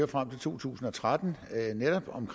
frem til to tusind og tretten netop om